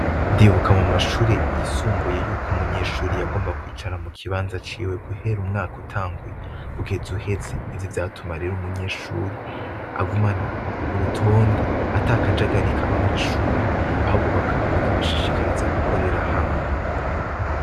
Ndibuka mu mashure yisumbuye y'uko umunyeshure yagomba kwicara mu kibanza ciwe, guhera umwaka utanguye kugeza uheze; ivyo vyatuma rero umunyeshure agumana urutonde, ata kajagari kaba mw'ishure, ahubwo bikabashishikariza gukorera hamwe.